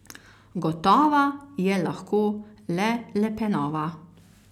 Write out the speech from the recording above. Gotova je lahko le Le Penova.